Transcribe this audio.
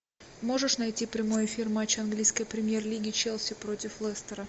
можешь найти прямой эфир матча английской премьер лиги челси против лестера